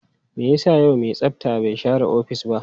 Me yasa yau mai tsafta bai share ofis ba?